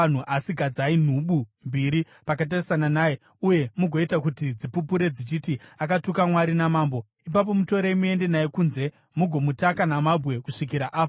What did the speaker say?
Asi gadzai nhubu mbiri pakatarisana naye uye mugoita kuti dzipupure dzichiti akatuka Mwari namambo. Ipapo mutorei muende naye kunze mugomutaka namabwe kusvikira afa.”